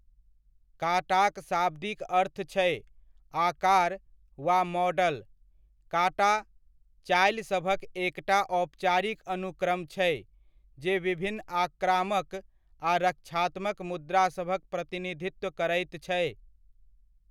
काटा'क शाब्दिक अर्थ छै 'आकार' वा 'मॉडल'। काटा चालिसभक एकटा औपचारिक अनुक्रम छै जे विभिन्न आक्रामक आ रक्षात्मक मुद्रासभक प्रतिनिधित्व करैत छै।